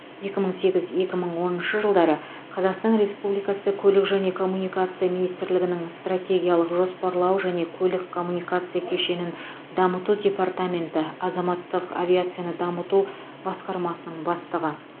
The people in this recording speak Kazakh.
екі мың сегіз екі мың оныншы жылдары қазақстан республикасы көлік және коммуникация министрлігінің стратегиялық жоспарлау және көлік коммуникация кешенін дамыту департаменті азаматтық авиацияны дамыту басқармасының бастығы